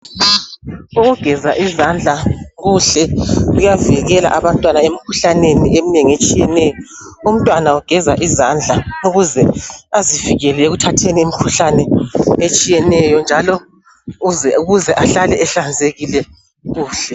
Ukugeza izandla kuhle kuyavikela abantwana emkhuhlaneni eminengi etshiyeneyo umntwana ugeza izandla ukuze azivikele ekuthatheni imkhuhlane etshiyeneyo njalo ukuze ahlale ehlanzekile kuhle